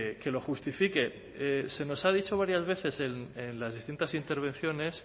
que lo justifique se nos ha dicho varias veces en las distintas intervenciones